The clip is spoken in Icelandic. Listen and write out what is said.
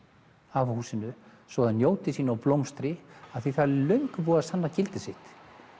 á húsinu svo það njóti sín og blómstri því það er löngu búið að sanna gildi sitt